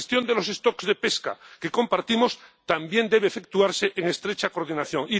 la gestión de los stocks de pesca que compartimos también debe efectuarse en estrecha coordinación.